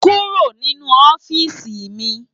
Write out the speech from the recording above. Kúró ninú òfisi mi